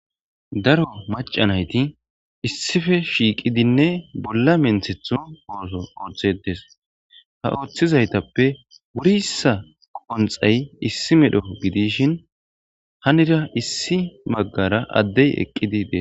daro macanayti issife shiiqidinne bolla menthethu ooso ooththetes ha ooththizaytappe wurissa qonxay issi medho gidishin hanida issi maggara addey eqqidi dees